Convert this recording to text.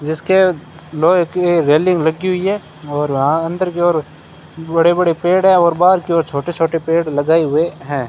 जिसके लोहे की रेलिंग लगी हुई है और वहां अंदर की ओर बड़े बड़े पेड़ है और बाहर की ओर छोटे छोटे पेड़ लगाए हुए हैं।